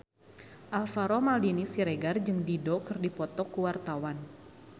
Alvaro Maldini Siregar jeung Dido keur dipoto ku wartawan